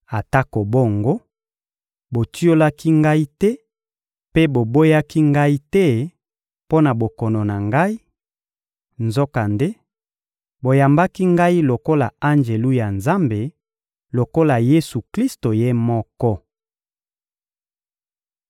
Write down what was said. Atako bongo, botiolaki ngai te mpe boboyaki ngai te mpo na bokono na ngai; nzokande, boyambaki ngai lokola Anjelu na Nzambe, lokola Yesu-Klisto Ye moko.